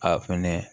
A fɛnɛ